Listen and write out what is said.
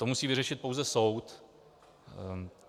To musí vyřešit pouze soud.